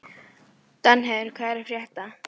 Danheiður, hvað er að frétta?